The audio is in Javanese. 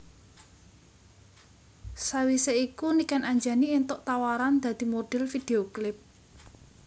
Sawisé iku Niken Anjani éntuk tawaran dadi modhel video klip